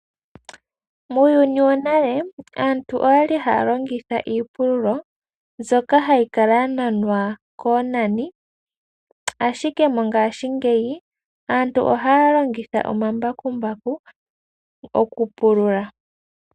Muuyuni wo nale aantu oyali haya longitha iipululo mbyoka hayi kala ya nanwa koonani, ashike mongaashingeyi aantu ohaya longitha omambakumbaku oku pulula.